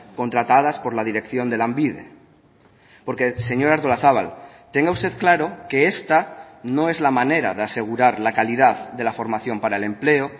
contratadas por la dirección de lanbide porque señora artolazabal tenga usted claro que esta no es la manera de asegurar la calidad de la formación para el empleo